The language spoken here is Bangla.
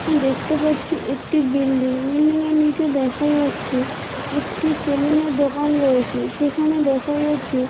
দেখতে পাচ্ছি একটি বিল্ডিং বিল্ডিং এর নিচে দেখা যাচ্ছে একটি সেলুন এর দোকান রয়েছে। সেখানে দেখা যাচ্ছে--